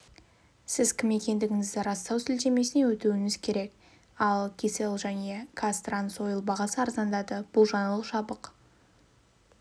сіз кім екендігіңізді растау сілтемесіне өтуіңіз керек ал кселл және қазтрансойл бағасы арзандады бұл жаңалық жабық